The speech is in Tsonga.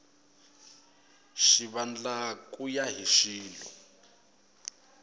xivandla ku ya hi xilo